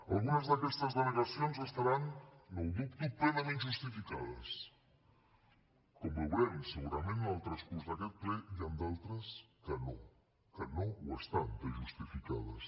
algunes d’aquestes denegacions deuen estar no ho dubto plenament justificades com veurem segurament en el transcurs d’aquest ple i en d’altres que no que no n’estan de justificades